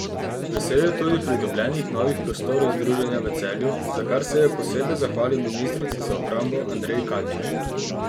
Vesel je tudi pridobljenih novih prostorov združenja v Celju, za kar se je posebej zahvalil ministrici za obrambo Andreji Katič.